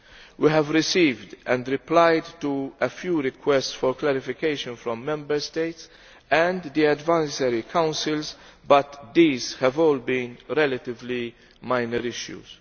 We have received and replied to a few requests for clarification from Member States and the Advisory Councils, but these have all been relatively minor issues.